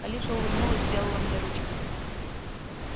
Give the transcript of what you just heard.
алиса улыбнулась сделала мне ручкой